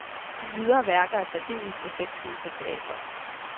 De ydre værker er særdeles effektfulde på teatret.